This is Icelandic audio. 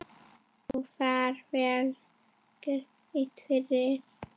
Og fær vel greitt fyrir.